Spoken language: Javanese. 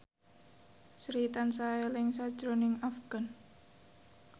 Sri tansah eling sakjroning Afgan